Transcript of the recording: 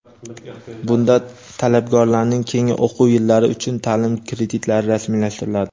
Bunda talabgorlarning keyingi o‘quv yillari uchun taʼlim kreditlari rasmiylashtiriladi.